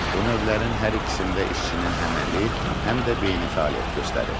Bu növlərin hər ikisində işçinin həm əməli, həm də beyni fəaliyyət göstərir.